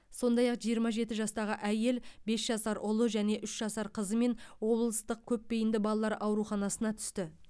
сондай ақ жиырма жеті жастағы әйел бес жасар ұлы және үш жасар қызымен облыстық көпбейінді балалар ауруханасына түсті